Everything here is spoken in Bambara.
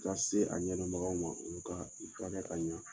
Ka se a ɲɛdɔnbagaw ma olu ka ka ɲa.